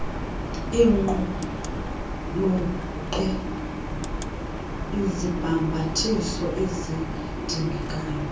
iqulunqe izibhambathiso ezidingekayo